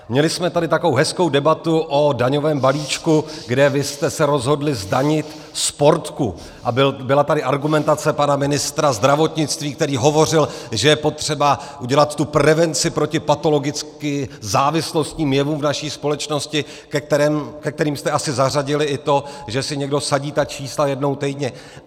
Měli jsme tady takovou hezkou debatu o daňovém balíčku, kde vy jste se rozhodli zdanit Sportku, a byla tady argumentace pana ministra zdravotnictví, který hovořil, že je potřeba udělat tu prevenci proti patologicky závislostním jevům v naší společnosti, ke kterým jste asi zařadili i to, že si někdo vsadí ta čísla jednou týdně.